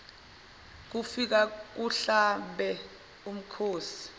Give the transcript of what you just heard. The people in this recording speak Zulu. kufike kuhlabe umkhosi